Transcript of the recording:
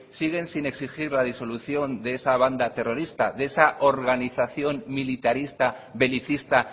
siguen sin exigir la disolución de esa banda terrorista de esa organización militarista belicista